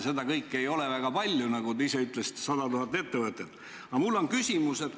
Seda kõike ei ole väga palju, sest, nagu te ise ütlesite, meil on 100 000 tegutsevat ettevõtet.